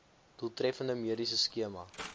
doeltreffende mediese skema